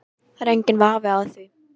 Það er enginn vafi á því